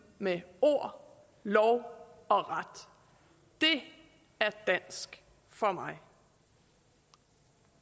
med ord lov og ret det er dansk for mig